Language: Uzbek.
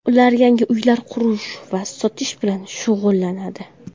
Ular yangi uylar qurish va sotish bilan shug‘ullanadi.